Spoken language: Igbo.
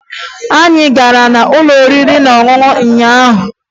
Anyị gara n'ụlọ oriri na ọṅụṅụ ụnyaahụ